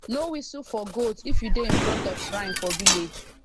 no whistle for goat if you dey in front of shrine for village